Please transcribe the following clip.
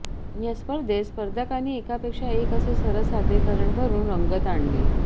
या स्पर्धेत स्पर्धकांनी एकापेक्षा एक असे सरस सादरीकरण करून रंगत आणली